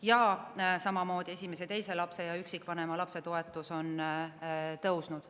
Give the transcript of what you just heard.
Samamoodi on tõusnud esimese ja teise lapse ja üksikvanema lapse toetus.